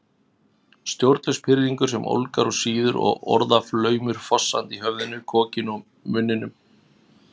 Stjórnlaus pirringur sem ólgar og sýður og orðaflaumur fossandi í höfðinu, kokinu, munninum